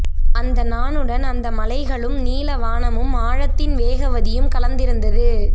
அந்த நானுடன் அந்த மலைகளும் நீலவானமும் ஆழத்தின் வேகவதியும் கலந்திருந்தது